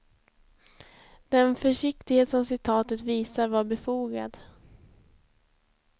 Den försiktighet som citatet visar var befogad.